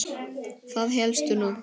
Það hélstu nú!